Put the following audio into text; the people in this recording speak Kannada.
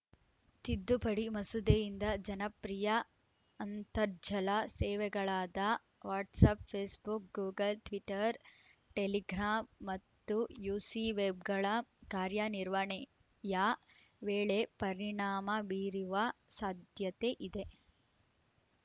ತಿದ್ದುಪಡಿ ಮಸೂದೆಯಿಂದ ಜನಪ್ರಿಯ ಅಂತರ್ಜಾಲ ಸೇವೆಗಳಾದ WhatsApp Facebook Google Twitter Telegram ಮತ್ತು ಯುಸಿವೆಬ್‌ಗಳ ಕಾರ್ಯನಿರ್ವಣೆಯ ವೇಳೆ ಪರಿಣಾಮ ಬೀರಿವ ಸಾಧ್ಯತೆ ಇದೆ